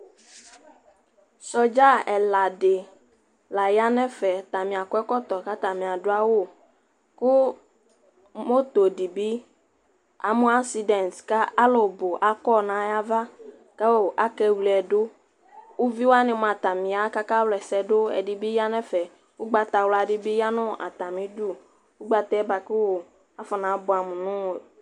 sɔdza ɛla di la ya nɛ fɛ atani akɔ ɛkɔtɔ kʋ atani adu awu moto di bi amʋ accidebt kʋ alʋ bu akɔ nayava ku akɛ wʋlɛ du uvi wani mʋa atani ya ka aka wulɛsɛ dʋ ɛdɛbi yanɛfɛ ʋgbata wula di bi yanu atani dʋ ugbata ɛ baku afɔna buam nu